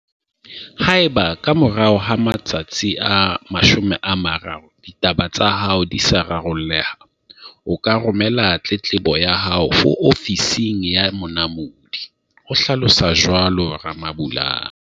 "Haeba, ka morao ho matsatsi a 30, ditaba tsa hao di sa raro lleha, o ka romela tletlebo ya hao ho Ofising ya Monamodi" o hlalosa jwalo Ramabulana.